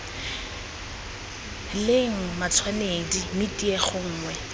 leng matshwanedi mme tiego nngwe